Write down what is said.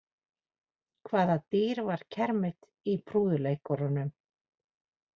Hvaða dýr var kermit í prúðuleikurunum?